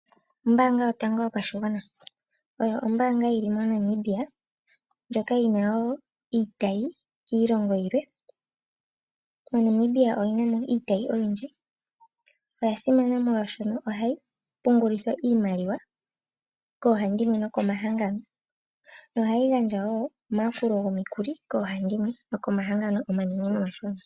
Ombaanga yotango yopashigwana Oyo ombaanga yi li moNamibia na oyi na iitayi kiilongo yilwe. MoNamibia oyi na mo iitayi oyindji. Oya simana shaashi ohayi pungulithwa iimaliwa koohandimwe noko mahangano. Ohayi gandja woo omayakulo gomikuli koohandimwe nokomahangano omanene gomoshilongo.